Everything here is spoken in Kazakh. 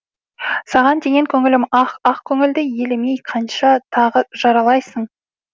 саған деген көңілім ақ ақ көңілді елемей қанша тағы жаралайсың